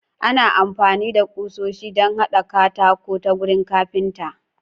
Ana amfani da kusoshi don haɗa katako ta wurin kafinta.